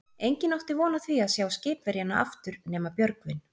Enginn átti von á því að sjá skipverjana aftur nema Björgvin.